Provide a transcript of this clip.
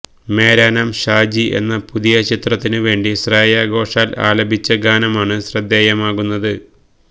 മേരാ നാം ഷാജി എന്ന പുതിയ ചിത്രത്തിനു വേണ്ടി ശ്രേയ ഘോഷാല് ആലപിച്ച ഗാനമാണ് ശ്രദ്ധേയമാകുന്നത്